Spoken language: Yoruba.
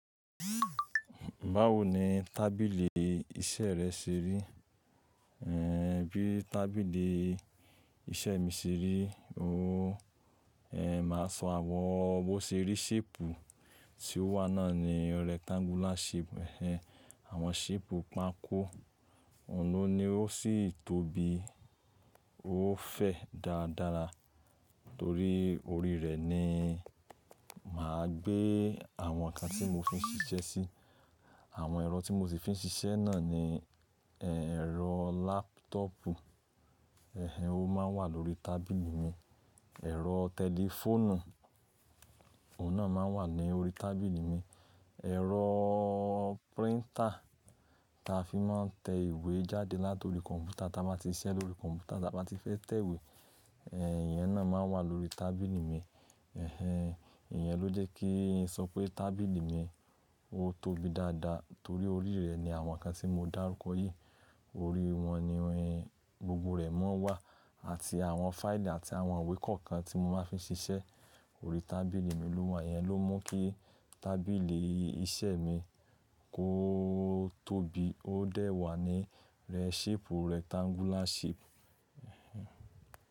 Báwo ni tábìlì iṣẹ́ rẹ ṣe rí? Ehn, bí tábìlì iṣẹ́ mi ṣe rí? Ooh, ehn, màá sọ àwọn bó ṣe rí shape tí ó wà náà ni rectangular shape. Ehen, àwọn shape pákó, òun ló ni ó sì tóbi, ó fẹ̀ dáadára torí orí rẹ̀ ni màá gbé àwọn nǹkan tí mo fi ń ṣiṣẹ́ sí. Àwọn ẹ̀rọ tí mo sì fi ń ṣiṣẹ́ náà ni, ehn, ẹ̀rọ laptopu, ehn, ó máa ń wà lórí tábìlì mi. Ẹ̀rọ tẹlifóònù, òun náà máa ń wà ní orí tábìlì mi. Ẹ̀rọ printer tí a fi máa ń tẹ ìwé jáde láti orí kọ̀m̀pútà tí a bá ti ṣiṣẹ́ lórí kọ̀m̀pútà tí a bá ti fẹ́ tẹ ìwé, ehn, ìyẹn náà máa ń wà lórí tábìlì mi. Ehen, ìyẹn ló jẹ́ kí n sọ pé tábìlì mi ó tóbi dáadáa torí orí rẹ̀ ni àwọn nǹkan tí mo dárúkọ yìí, orí wọn ni gbogbo rẹ̀ máa ń wà àti àwọn fáìlì àti àwọn ìwé kọ̀ọ̀kan tí mo máa ń fi ń ṣiṣẹ́ orí tábìlì mi ló wà. Ìyẹn ló mú kí tábìlì iṣẹ́ mi kó tóbi, ó dẹ̀ wà ní shape rectangular shape.